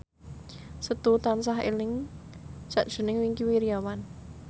Setu tansah eling sakjroning Wingky Wiryawan